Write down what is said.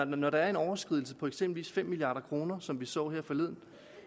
når der er en overskridelse på eksempelvis fem milliard kr som vi så det her forleden